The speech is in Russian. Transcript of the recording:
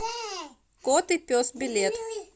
кот и пес билет